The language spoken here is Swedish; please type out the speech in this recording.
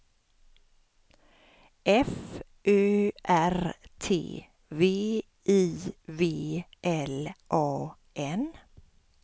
F Ö R T V I V L A N